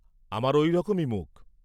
আমার ঐ রকমই মুখ।